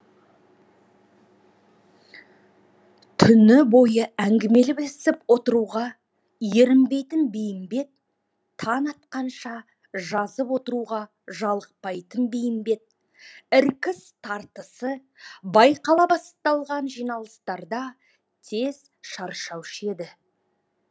түні бойы әңгімелесіп отыруға ерінбейтін бейімбет таң атқанша жазып отыруға жалықпайтын бейімбет іркіс тартысы байқала бастаған жиналыстарда тез шаршаушы еді